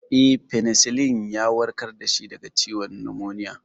Eh, Fenisilin ya warkar da shi daga ciwon numoniya.